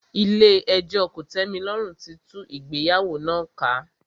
Ilé ẹjọ́ kòtẹ́milọ́rùn tí tú ìgbéyàwó náà ká.